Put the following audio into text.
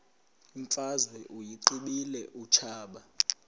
imfazwe uyiqibile utshaba